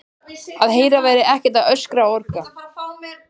Að Heiða væri ekki að öskra og orga.